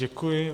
Děkuji.